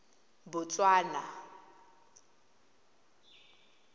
botswana